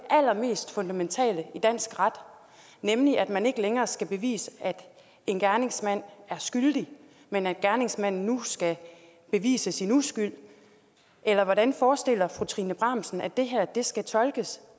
allermest fundamentale i dansk ret nemlig at man ikke længere skal bevise at en gerningsmand er skyldig men at gerningsmanden nu skal bevise sin uskyld eller hvordan forestiller fru trine bramsen sig at det her skal tolkes